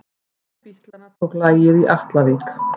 Hver bítlanna tók lagið í Atlavík?